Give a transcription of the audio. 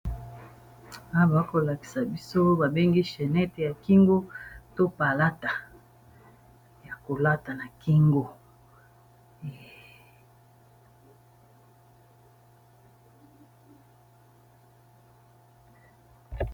Awa bazo kolakisa biso babengi chenete ya kingo to palata ya kolata na kingo